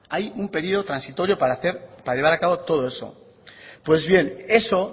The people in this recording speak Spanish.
hay un periodo transitorio para llevar a cabo todo eso pues bien eso